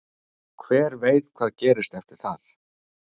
Hver veit hvað gerist eftir það?